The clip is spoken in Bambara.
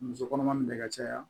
Muso kɔnɔma min bɛ ka caya